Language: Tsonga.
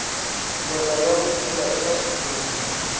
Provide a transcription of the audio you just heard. ndlela ya vutshila eka xitshuriwa